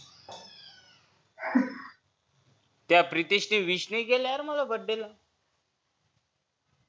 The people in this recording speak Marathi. त्या प्रितेश ने wish नाही केलं यार मला birthday ला